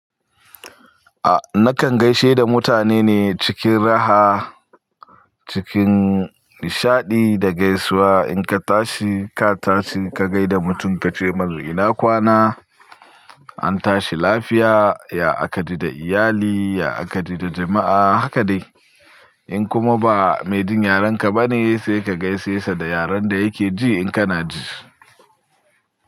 A nakan gaishe da mutane ne cikin raha, cikin nishadi da gaisuwa. In ka tashi ka tashi ka gaida mutum ka ce mar ina kwana, an tashi lafiya, ya aka ji da iyali, ya aka ji da jama'a haka dai. In kuma ba mai jin yaren ka bane sai ka gaishe sa da yaren da yake ji in kana ji.